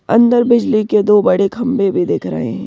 अंदर बिजली के दो बड़े खंबे भी दिख रहे हैं ।